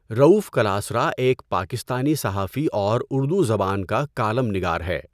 رؤوف کلاسرا ایک پاکستانی صحافی اور اردو زبان کا کالم نگار ہے۔